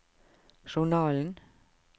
journalen